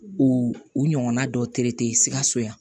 U u ɲɔgɔnna dɔw sikaso yan